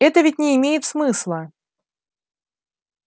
это ведь не имеет смысла